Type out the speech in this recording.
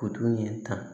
Kutu in ta